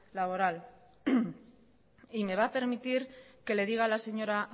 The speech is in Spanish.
laboral me va a permitir que le diga a la señora